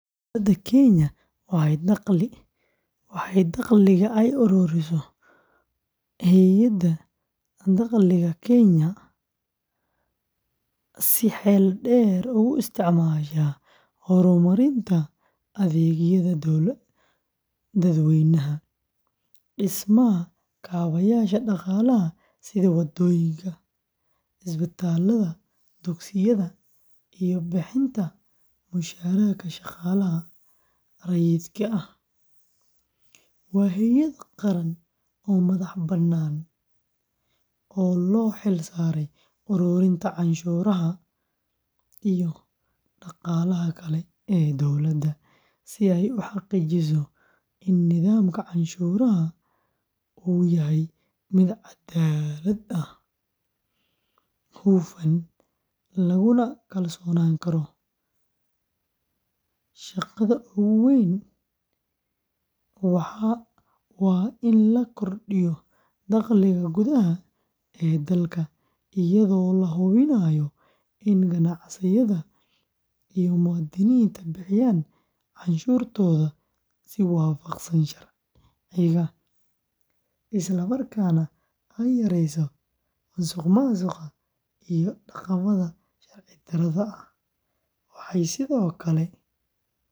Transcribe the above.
Dowladda Kenya waxay dakhliga ay ururiso Hay’adda Dakhliga Kenya ee si xeel dheer ugu isticmaashaa horumarinta adeegyada dadweynaha, dhismaha kaabayaasha dhaqaalaha sida waddooyinka, isbitaallada, dugsiyada, iyo bixinta mushaharka shaqaalaha rayidka ah, waa hay’ad qaran oo madax-bannaan oo loo xil saaray ururinta canshuuraha iyo dhaqaalaha kale ee dowladda si ay u xaqiijiso in nidaamka canshuuraha uu yahay mid caddaalad ah, hufan, laguna kalsoonaan karo. Shaqada ugu weyn ee waa in la kordhiyo dakhliga gudaha ee dalka iyadoo la hubinayo in ganacsiyada iyo muwaadiniinta bixiyaan canshuurtooda si waafaqsan sharciga, isla markaana ay yareyso musuqmaasuqa iyo dhaqamada sharci darrada ah, waxay sidoo kale qabataa kormeer joogto ah.